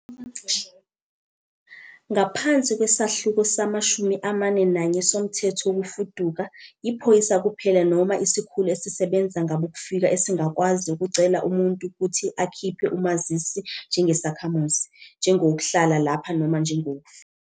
Ngaphansi kweSahluko sama-41 soMthetho Wokufuduka, iphoyisa kuphela noma isikhulu esisebenza ngabokufika esingakwazi ukucela umuntu ukuthi akhiphe umazisi njengesakhamuzi, njengowokuhlala lapha noma njengowokufika.